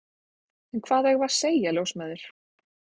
Eða hvað eigum við að segja, ljósmæður?